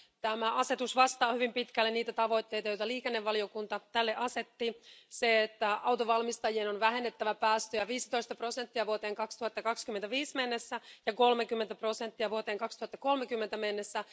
Tämä asetus vastaa hyvin pitkälle liikennevaliokunnan sille asettamia tavoitteita autonvalmistajien on vähennettävä päästöjä 15 prosenttia vuoteen 2025 mennessä ja 30 prosenttia vuoteen 2030 mennessä.